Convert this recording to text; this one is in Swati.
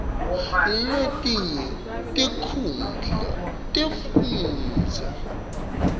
letinye tinkhundla tekufundza